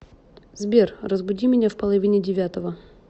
сбер разбуди меня в половине девятого